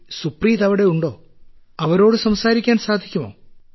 സുപ്രീത് അവിടെയുണ്ടോ അവരോട് സംസാരിക്കാൻ സാധിക്കുമോ